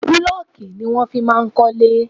Búlọ́ọ̀kù ni wọ́n máa ń fi ń kọ́lé.